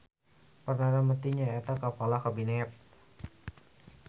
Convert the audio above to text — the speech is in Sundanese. Perdana Mentri nyaeta kapala Kabinet.